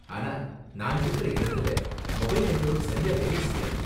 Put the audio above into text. அனா, நான் இருக்குற இடத்துல மொபைல் நெட்வொர்க் சரியா வேலை செய்யாது.